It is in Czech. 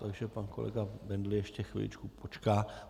Takže pan kolega Bendl ještě chviličku počká.